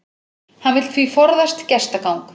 Hann vill því forðast gestagang